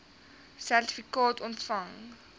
sertifikaat ontvang